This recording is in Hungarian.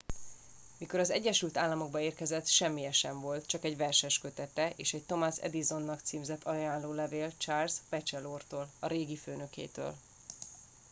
mikor az egyesült államokba érkezett semmije sem volt csak egy verseskötete és egy thomas edisonnak címzett ajánlólevél charles batchelortól a régi főnökétől